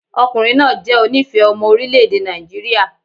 Ọkùnrin náà jẹ́ onífẹ̀ẹ́ ọmọ orílẹ̀ èdè Nàìjíríà.